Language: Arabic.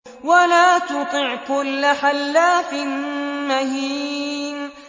وَلَا تُطِعْ كُلَّ حَلَّافٍ مَّهِينٍ